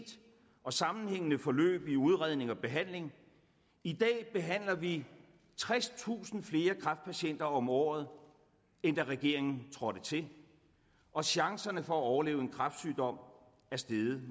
og sammenhængende forløb i udredning og behandling i dag behandler vi tredstusind flere kræftpatienter om året end da regeringen trådte til og chancerne for at overleve en kræftsygdom er steget